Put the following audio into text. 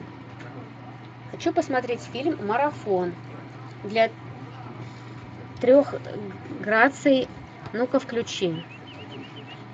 хочу посмотреть фильм марафон для трех граций ну ка включи